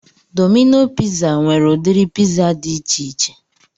Domino piza nwere udiri piza dị ichiche